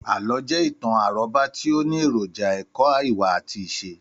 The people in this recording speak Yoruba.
Àlọ́ jẹ́ ìtàn àrọ́bá tí ó ní èròjà èkó ìwà àti ìṣe.